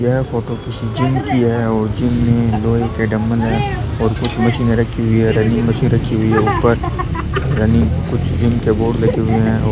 यह फोटो किसी जिम की है और जिम में दो एक डम्बल है और कुछ मशीन रखी हुई है रनिंग वगैरा रखी हुई है ऊपर जिम के कुछ बोर्ड लगे हुए है और --